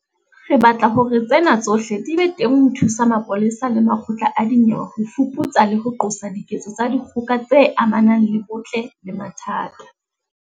Re batla hore tsena tsohle di be teng ho thusa mapolesa le makgotla a dinyewe ho fuputsa le ho qosa diketso tsa dikgoka tse amanang le bong ntle le mathata.